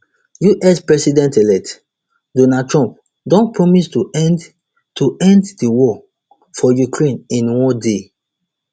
us presidentelect donald trump don promise to end to end di war for ukraine in one day